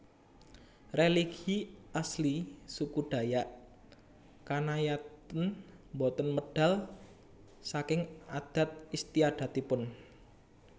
Religi asli suku Dayak Kanayatn boten medal saking adat istiadatipun